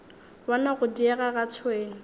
bona go diega ga tšhwene